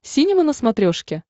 синема на смотрешке